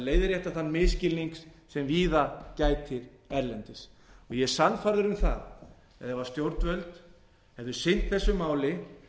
leiðrétta þann misskilning sem víða gætir erlendis ég er sannfærður um það að ef stjórnvöld hefðu sinnt þessu máli